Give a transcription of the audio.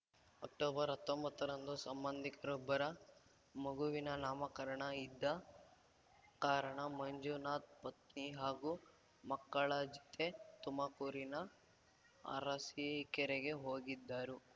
ಅಕ್ಟೊಬರ್ಅತ್ತೊಂಬತ್ತರಂದು ಸಂಬಂಧಿಕರೊಬ್ಬರ ಮಗುವಿನ ನಾಮಕಾರಣ ಇದ್ದ ಕಾರಣ ಮಂಜುನಾಥ್‌ ಪತ್ನಿ ಹಾಗೂ ಮಕ್ಕಳ ಜತೆ ತುಮಕೂರಿನ ಅರಸೀಕೆರೆಗೆ ಹೋಗಿದ್ದರು